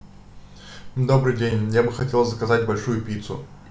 добрый день я бы хотел заказать большую пиццу